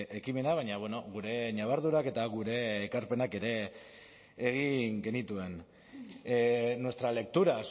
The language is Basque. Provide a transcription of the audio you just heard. ekimena baina gure ñabardurak eta gure ekarpenak ere egin genituen nuestra lectura